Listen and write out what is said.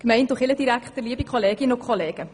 Kommissionssprecherin der SAK.